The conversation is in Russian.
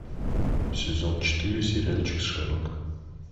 сезон четыре сериальчик шерлок